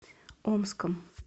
омском